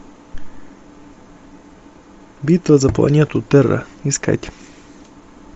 битва за планету терра искать